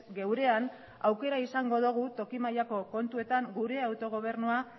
geurean aukera izango dugu toki mailako kontuetan gure autogobernua